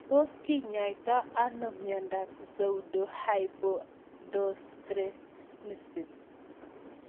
Tos kinyaitoi ano miondop pseudohypoaldosteronism